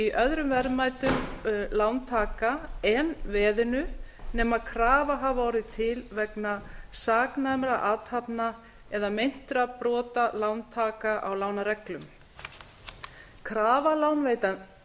í öðrum verðmætum lántaka en veðinu nema krafa hafi orðið til vegna saknæmra athafna eða meintra brota lántaka á lánareglum krafa